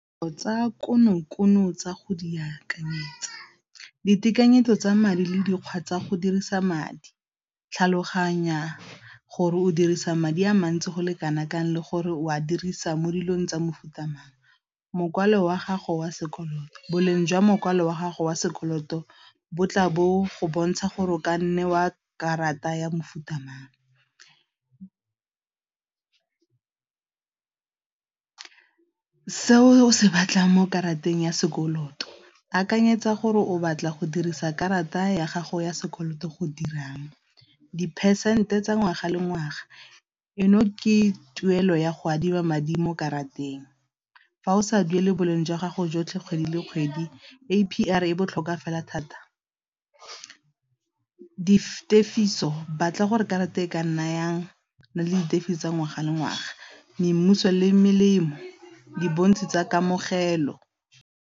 Tsa kono-kono tsa go di akanyetsa, ditekanyetso tsa madi le dikgwa tsa go dirisa madi tlhaloganya gore o dirisa madi a mantsi go le kana kang le gore o a dirisa mo dilong tsa mofuta mang, mokwalo wa gago wa sekoloto boleng jwa mokwalo wa gago wa sekoloto bo tla bo go bontsha gore o ka nne wa karata ya mofuta mang. Se o se batlang mo karateng ya sekoloto akanyetsa gore o batla go dirisa karata ya gago ya sekoloto go dirang, di-percent tsa ngwaga le ngwaga eno ke tuelo ya go adima madi mo karateng fa o sa duele boleng jwa gago jotlhe kgwedi le kgwedi A_P_R e botlhokwa fela thata, di tefiso batla gore karata e ka nayang na le di tefiso tsa ngwaga le ngwaga le melemo di bontshi tsa kamogelo.